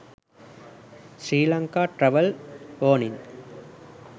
sri lanka travel warning